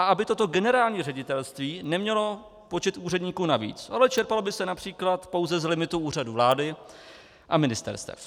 A aby toto generální ředitelství nemělo počet úředníků navíc, ale čerpalo by se například pouze z limitu Úřadu vlády a ministerstev.